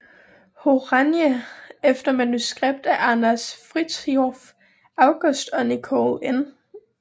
Horanyi efter manuskript af Anders Frithiof August og Nicole N